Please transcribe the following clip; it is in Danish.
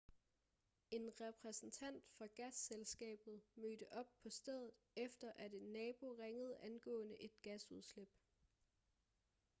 en repræsentant fra gasselskabet mødte op på stedet efter at en nabo ringede angående et gasudslip